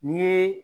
N'i ye